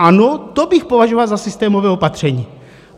Ano, to bych považoval za systémové opatření.